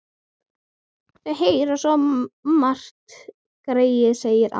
Þau heyra svo margt, greyin, sagði amma.